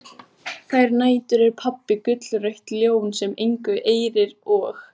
Þær nætur er pabbi gullrautt ljón sem engu eirir og